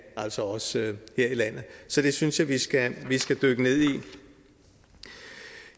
altså også her i landet så det synes jeg vi skal skal dykke ned i